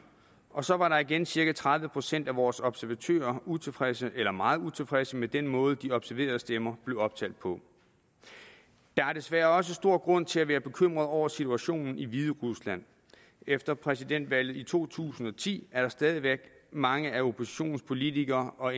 og så var igen cirka tredive procent af vores observatører utilfredse eller meget utilfredse med den måde de observerede stemmer blev optalt på der er desværre også stor grund til at være bekymret over situationen i hviderusland efter præsidentvalget i to tusind og ti er der stadig væk mange af oppositionens politikere og